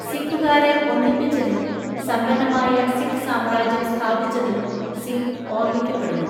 സിഖുകാരെ ഒന്നിപ്പിച്ചതിനും സമ്പന്നമായ സിഖ് സാമ്രാജ്യം സ്ഥാപിച്ചതിനും സിംഗ് ഓർമ്മിക്കപ്പെടുന്നു.